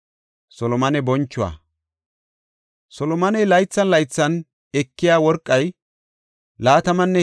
Solomoney laythan laythan ekiya worqay 23,000 kilo giraame.